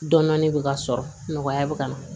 Dɔnni bɛ ka sɔrɔ nɔgɔya bɛ ka na